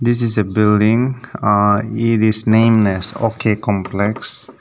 This is a building ahh it is named as OK complex.